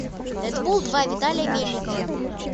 дэдпул два виталия мельникова